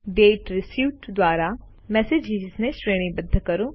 દાતે received દ્વારા મેસેજીસને શ્રેણીબદ્ધ કરો